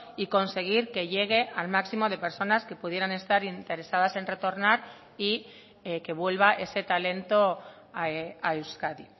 y conseguir que llegue al máximo de personas que pudieran estar interesadas en retornar y que vuelva ese talento a euskadi